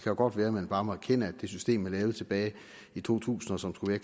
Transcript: jo godt være at man bare må erkende at det system man lavede tilbage i to tusind og som skulle